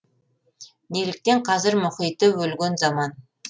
неліктен қазір мұхиты өлген заман